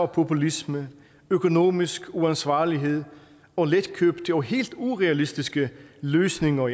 populisme økonomisk uansvarlighed og letkøbte og helt urealistiske løsninger